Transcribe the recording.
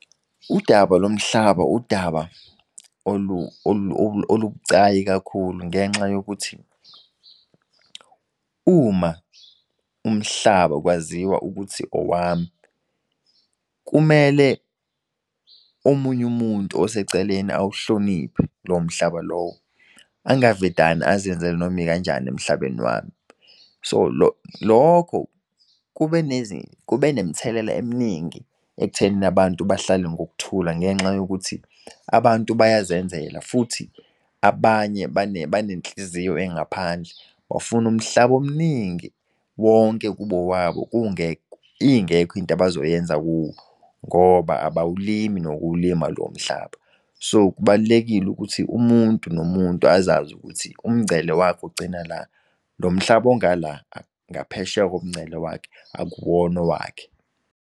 Udaba lomhlaba udaba olubucayi kakhulu ngenxa yokuthi uma umhlaba kwaziwa ukuthi owami kumele omunyu umuntu oseceleni uwuhloniphe lowo mhlaba lowo. Angavedane azenzele noma ikanjani emhlabeni wami. So lokho kube nemthelela eminingi ekuthenini abantu bahlale ngokuthula ngenxa yokuthi abantu bayazenzela. Futhi abanye banenhliziyo engaphandle, bafuna umhlaba omningi wonke kubo wabo ingekho into abazoyenza kuwo ngoba abawulimi nokuwulima lowo mhlaba. So kubalulekile ukuthi umuntu nomuntu azazi ukuthi umngcele wakhe ugcina la, lo mhlaba ongala ngaphesheya komngcele wakhe akuwona owakhe.